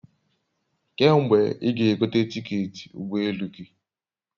Kee mgbe i ga egote tiketi ugbo elu gi?